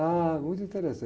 Ah, muito